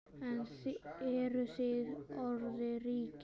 En eruð þið orðnir ríkir?